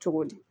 Cogo di